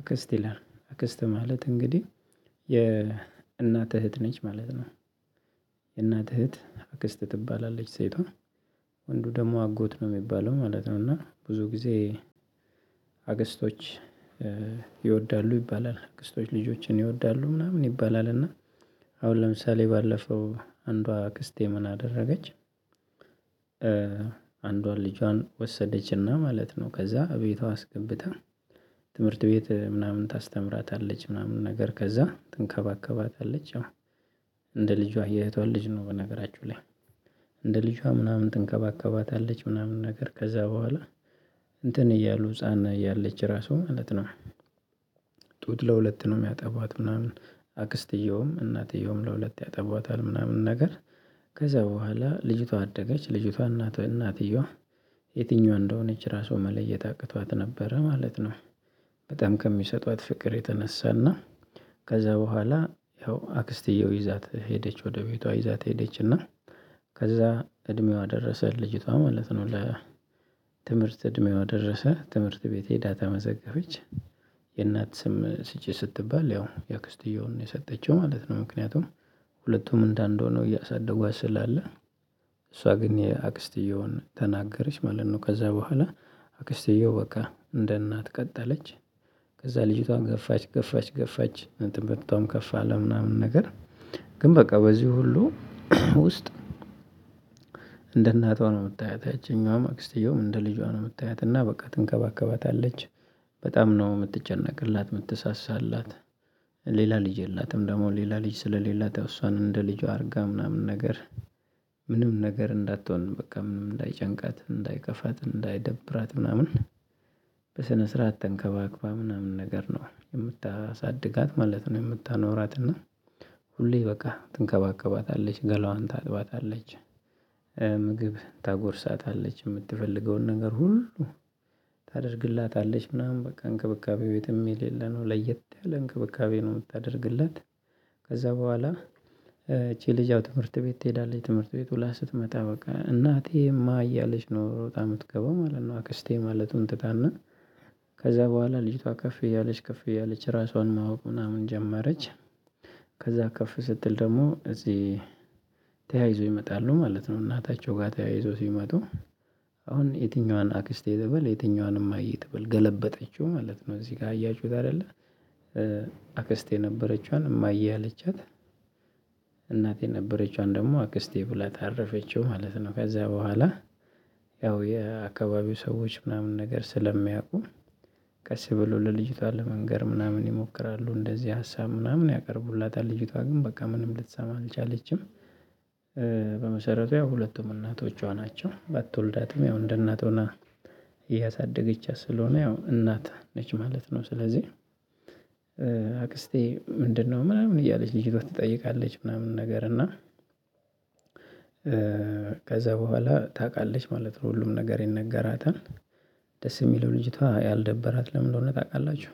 አክስት ይላል አክስት ማለት እንግዲህ የእናት እህት ነች ማለት ነው። እህት አክስት ትባላለች ሴቷ ወንዱ ደግሞ አጎት ነው የሚባለው ማለት ነው። እና ብዙ ጊዜ አክስቶች ይወዳሉ ይባላል አክስቶች ልጆችን ይወዳሉ ምናምን ይባላል እና አሁን ለምሳሌ ባለፈው አንዷ አክስቴ ምን አደረገች? አንዷን ልጇን ወሰደችና ማለት ነው ከዛ እቤቷ አስገብታ ትምህርት ቤት ምናምን ታስተምራታለች ምናምን ነገር ከዛ ትንከባከባታለች። ያው እንደ ልጇ የእህቷን ልጅ ነው በነገራችሁ ላይ እንደ ልጇ ምናምን ትንከባከባታለች ምናምን ነገር ከዛ በኋላ እያሉ ህፃና እያለች ራሱ ማለት ነው። ጡት ለሁለት ነው የሚያጠባት ምናምን አክስትየውም እናትየውም ለሁለት ያጠቧታል ምናምን ነገር። ከዛ በኋላ ልጅቷ አደገች ልጅቷ እናት እናትየዋ የትኛዋ እንደሆነች ራሱ መለየት አቅቷት ነበረ ማለት ነው። በጣም ከሚሰጧት ፍቅር የተነሳና ከዛ በኋላ ያው አክስቲያዊ ይዛት ሄደች ወደ ቤቷ ይዛት ሄደችና። ከዛ እድሜዋ ደረሰ ልጅቷ ማለት ነው ለ ትምህርት እድሜዋ ደረሰ ትምህርት ቤቴ ሄዳ ተመዘገበች። የእናት ስም ስጪ ስትባል ያው የአክስትየውን ነው የሰጠችው ማለት ነው ምክንያቱም ሁለቱም እንደአንዱ ሆነው እያሳደጓት ስላለ። እሷ ግን የአክስትየውን ተናገረች ማለት ነው ከዛ በኋላ አክስትየው በቃ እንደ እናት ቀጠለች። ከዛ ልጅቷን ገፋች ገፋች ገፋች እንትን ትምርቷም ከፍ አለ ምናምን ነገር ግን በቃ በዚህ ሁሉ ውስጥ እንደ እናቷ ነው የምታያት ያቺኛዋም አክስትየውም እንደ ልጇ ነው እምታያት እና በቃ ትንከባከባታለች። በጣም ነው የምትጨነቅላት የምትሳሳላት ሌላ ልጅ የላትም ደግሞ ሌላ ልጅ ስለሌላት ያው እሷን እንደ ልጇ አድርጋ ምናምን ነገር። ምንም ነገር እንዳትሆን በቃ ምንም እንዳይጨንቃት እንዳይከፋት እንዳይደብራት ምናምን በስነ ስርዓት ተንከባክባ ምናምን ነገር ነው የምታሳድጋት ማለት ነው። የምታኖራት እና ሁሌ በቃ ትንከባከባታለች ገላዋን ታጥባታለች ምግብ ታጎርሳታለች የምትፈልገውን ነገር ሁሉ ታደርግላታለች ምናምን በቃ እንክብካቤው የትም የሌለ ነው ለየት ያለ እንክብካቤ ነው የምታደርግላት። ከዛ በኋላ ይቺ ልጅ ያው ትምህርት ቤት ትሄዳለች ትምህርት ቤት ሁላ ስትመጣ በቃ እናቴ እማ እያለች ነው ሮጣ እምትገባው ማለት ነው አክስቴ ማለቱን ትታና። ከዛ በኋላ ልጅቷ ከፍ እያለች ከፍ እያለች ራሷን ማወቅ ምናምን ጀመረች። ከዛ ከፍ ስትል ደግሞ እዚህ ይመጣሉ ማለት ነው እናታቸው ጋር ተያይዞው ሲመጡ። አሁን የትኛዋን አክስቴ ትበል የትኛዋን እማዬ ተበል ገለበጠችው ማለት ነው እዚህ ጋር አያችሁት አይደለ? አክስቴ የነበረችዋን እማዬ አለቻት። እናት የነበረችዋን ደግሞ አክስቴ ብላት አረፈችው ማለት ነው። ከዛ በኋላ ያው የአካባቢው ሰዎች ምናምን ነገር ስለሚያውቁ ቀስ ብሎ ለልጅቷ ለመንገር ምናምን ይሞክራሉ እንደዚህ ሀሳብ ምናምን ያቀርቡላታል ልጅቷ ግን በቃ ምንም ልትሰማ አልቻለችም። በመሰረቱ ያው ሁለቱም እናቶቿ ናቸው ባትወልዳትም ያው እንደናት ሆና እያሳደገቻት ስለሆነ ያው እናት ነች ማለት ነው። ስለዚህ አክስቴ ምንድነው ምናምን እያለች ልጅቷ ትጠይቃለች ምናምን ነገር እና ከዛ በኋላ ታቃለች ማለት ነው ሁሉም ነገር ይነገራታል። ደስ የሚለው ልጅቷ ያልደበራት ለምን እንደሆነ ታውቃላችሁ?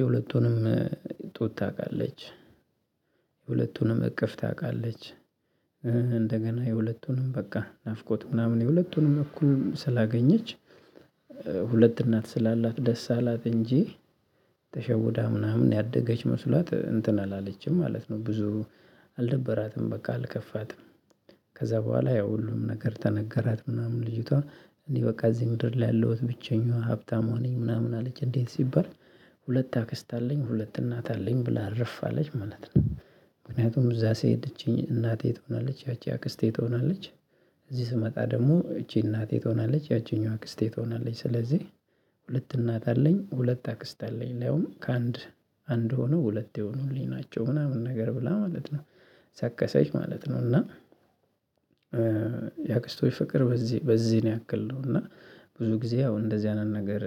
የሁለቱንም ጡት ታውቃለች። የሁለቱንም እቅፍ ታውቃለች። እንደገና የሁለቱንም በቃ ናፍቆት ምናምን የሁለቱንም እኩል ስላገኘች። እናት ስላላት ደስ አላት እንጂ። ተሸውዳ ምናምን ያደገች መስሏት እንትን አላለችም ማለት ነው። ብዙ አልደበራትም በቃ አልከፋትም። ከዛ በኋላ ያው ሁሉም ነገር ተነገራት ምናምን ልጅቷ እንዲህ በቃ እዚህ ምድር ላይ ያለው ብቸኛዋ ሀብታሟ ነኝ ምናምን አለች እንዴት ሲባል? ሁለት አክስት አለኝ ሁለት እናት አለኝ ብላ እርፍ አለች ማለት ነው። ምክንያቱም እዛ ስሄድ እቺ እናቴ ትሆናለች ያቺ አክስቴ ትሆናለች። እዚህ ስመጣ ደግሞ እቺ እናቴ ትሆናለች ያቺኛዋ አክስቴ ትሆናለች ስለዚህ። ሁለት እናት አለኝ ሁለት አክስት አለኝ ሊያዉም ከአንድ አንድ ሆነው ሁለት የሆኑልኝ ናቸው ምናምን ነገር ብላ ማለት ነው። ሰከሰች ማለት ነው። እና የአክስቶች ፍቅር በዚህ በዚህ ያክል ነው። እና ብዙ ጊዜ ያው እንደዚህ አይነት ነገር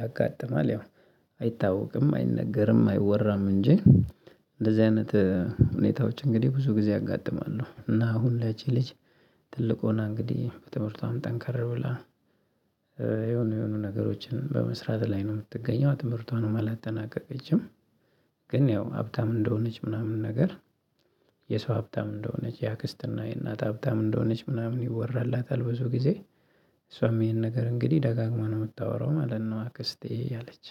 ያጋጥማል ያው አይታወቅም አይነገርም አይወራም እንጂ። እንደዚህ አይነት ሁኔታዎች እንግዲህ ብዙ ጊዜ ያጋጥማሉ። እና አሁን ላይ እቺ ልጅ ትልቁ ሆና እንግዲህ በትምህርቷም ጠንካራ ብላ የሆነ የሆኑ ነገሮችን በመስራት ላይ ነው የምትገኘው ትምህርቷን አላጠናቀቀችም። ግን ያው ሀብታም እንደሆነች ምናምን ነገር የሰው ሀብታም እንደሆነች የአክስትና የእናት ሀብታም እንደሆነች ምናምን ይወራላታል። ብዙ ጊዜ እሷም ይሄን ነገር እንግዲህ ደጋግማ ነው የምታወራው ማለት ነው። አክስቴ እየለች